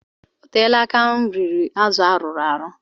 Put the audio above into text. O teela aka m riri azụ arụrụ arụ.